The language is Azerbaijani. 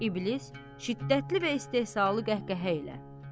İblis şiddətli və istehzalı qəhqəhə ilə.